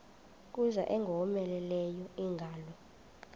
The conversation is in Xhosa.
kuza ingowomeleleyo ingalo